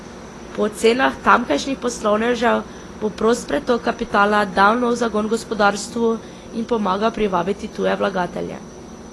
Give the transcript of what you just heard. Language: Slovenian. Po ocenah tamkajšnjih poslovnežev bo prost pretok kapitala dal nov zagon gospodarstvu in pomagal privabiti tuje vlagatelje.